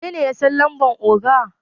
wanene ya San lambar oga?